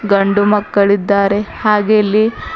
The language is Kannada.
ಗಂಡು ಮಕ್ಕಳು ಇದ್ದಾರೆ ಹಾಗೆ ಇಲ್ಲಿ--